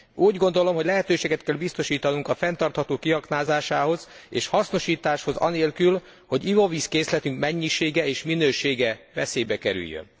Úgy gondolom, hogy lehetőséget kell biztosítanunk a fenntartható kiaknázásához és hasznosításhoz anélkül, hogy ivóvízkészletünk mennyisége és minősége veszélybe kerüljön.